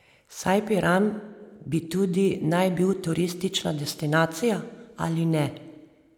Saj Piran bi tudi naj bil turistična destinacija, ali ne?